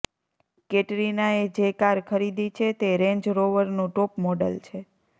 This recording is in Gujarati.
કેટરીનાએ જે કાર ખરીદી છે તે રેન્જ રોવરનું ટોપ મોડલ છે